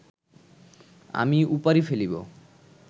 আমি উপাড়ি ফেলিব